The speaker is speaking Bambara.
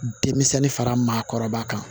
Denmisɛnnin fara maakɔrɔba kan